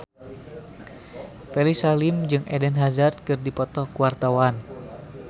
Ferry Salim jeung Eden Hazard keur dipoto ku wartawan